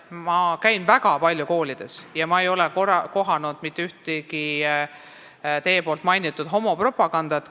Ma käin väga palju koolides ja ma ei ole mitte kusagil kohanud teie mainitud homopropagandat.